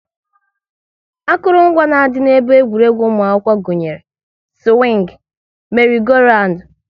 Akụrụngwa na-adị n'ebe egwuregwu ụmụ akwụkwọ gụnyere; siwing, meri-go-randu